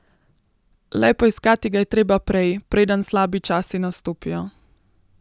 Le poiskati ga je treba prej, preden slabi časi nastopijo.